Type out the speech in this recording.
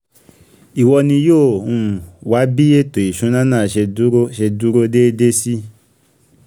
ìwọ ni yóò um wá bí ètò ìṣúná náà ṣe dúró ṣe dúró déédé sí